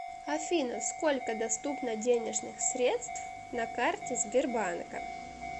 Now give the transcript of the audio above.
афина сколько доступно денежных средств на карте сбербанка